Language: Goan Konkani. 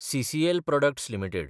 CCL products (India) limited